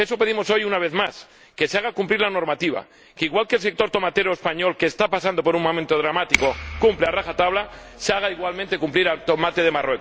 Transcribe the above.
Eso pedimos hoy, una vez más, que se haga cumplir la normativa, que igual que el sector tomatero español —que está pasando por un momento dramático— cumple a rajatabla, se haga igualmente cumplir al tomate de Marruecos.